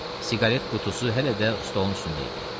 Siqaret qutusu hələ də stolun üstündə idi.